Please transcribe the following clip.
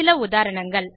சில உதாரணங்கள்